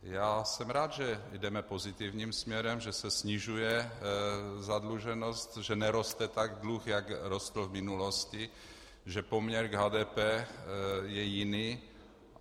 Já jsem rád, že jdeme pozitivním směrem, že se snižuje zadluženost, že neroste tak dluh, jak rostl v minulosti, že poměr k HDP je jiný.